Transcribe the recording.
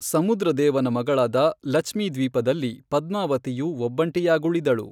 ಸಮುದ್ರದೇವನ ಮಗಳಾದ ಲಚ್ಮಿ ದ್ವೀಪದಲ್ಲಿ ಪದ್ಮಾವತಿಯು ಒಬ್ಬಂಟಿಯಾಗುಳಿದಳು.